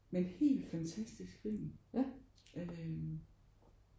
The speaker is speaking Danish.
Men helt fantastisk film øh